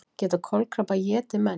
Geta kolkrabbar étið menn?